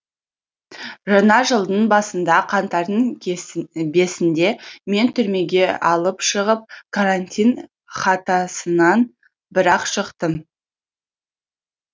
жаңа жылдың басында қаңтардың бесінде мен түрмеге алып шығып карантин хатасынан бірақ шықтым